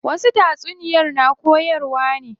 Wasu tatsuniyar na koyarwa ne.